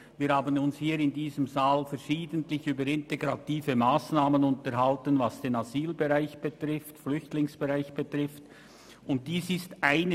Wir haben uns hier im Grossen Rat verschiedentlich über integrative Massnahmen für den Asyl- und Flüchtlingsbereich unterhalten.